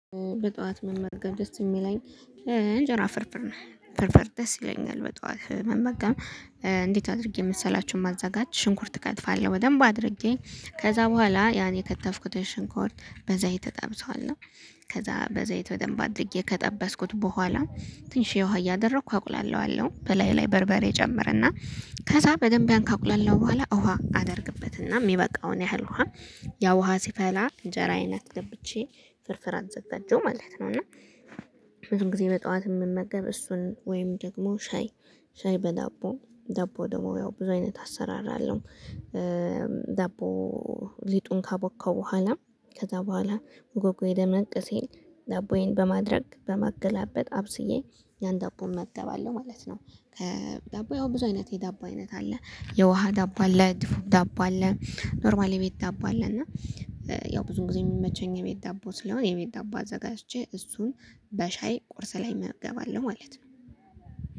በጧት መመገብ ደስ የሚለኝ እንጀራ ፍርፍርን ፍርፍር ደስ ይለኛል። በጧት መመገብ እንዴት አድርጌ መሰላችሁ ማዘጋጅ ሽንኩርት እከትፋለሁ በደንብ አድርጌ ከዛ በኋላ ያን የከተፍኩትን ሽንኩርት በዘይት እጠብሰዋለሁ። ከዛ በዘይት በደንብ አድርጌ ከጠበስኩት በኋላ ትንሽዬ የውሃ እያደረኩ አቁላላዋለው በላዩ ላይ በርበሬ ጨምረና ከዛ በደንብ ያን ካቁላለሁ በኋላ ውሃ አደርግበትና የሚበቃውን ያህል ውሃ ያ ውሃ ሲፈላ እንጀራ አይነት አስገብቼ ፍርፍር አዘጋጀው ማለት ነው። እና ብዙ ጊዜ በጧት የምመገብ እሱን ወይም ደግሞ ሻይ ሻይ በዳቦ ደቦ ደግሞ ያው ብዙ አይነት አሰራር አለው። ዳቦ ሊጡን ካቦከው በኋላ ከዛ በኋላ ጉጉዬ ደመቅ ሲል ዳቦዬን በማድረግ በማገላበጥ አብስዬ ያን ዳቦ እመገባለው ማለት ነው። ዳቦ ያው ብዙ አይነት የዳቦ አይነት አለ የውሃ ዳቦ አለ ዳቦ አለ ኖርማል የቤት ዳቦ አለ። እና ያው ብዙ ጊዜ የሚመቸኝ የቤት ዳቦ ስለሆነ የቤት ዳቦ አዘጋጅቼ እሱን በሻይ ቁርስ ላይ እመገባለሁ ማለት ነው።